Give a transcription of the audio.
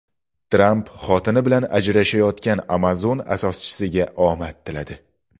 Tramp xotini bilan ajrashayotgan Amazon asoschisiga omad tiladi.